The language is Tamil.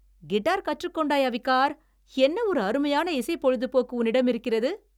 கிட்டார் கற்றுக்கொண்டாய், அவிகார்! என்ன ஒரு அருமையான இசை பொழுதுபோக்கு உன்னிடம் இருக்கிறது.